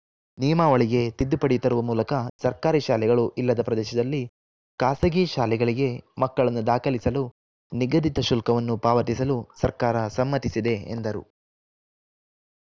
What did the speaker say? ನಿಯಮಾವಳಿಗೆ ತಿದ್ದುಪಡಿ ತರುವ ಮೂಲಕ ಸರ್ಕಾರಿ ಶಾಲೆಗಳು ಇಲ್ಲದ ಪ್ರದೇಶದಲ್ಲಿ ಖಾಸಗಿ ಶಾಲೆಗಳಿಗೆ ಮಕ್ಕಳನ್ನು ದಾಖಲಿಸಲು ನಿಗದಿತ ಶುಲ್ಕವನ್ನು ಪಾವತಿಸಲು ಸರ್ಕಾರ ಸಮ್ಮತಿಸಿದೆ ಎಂದರು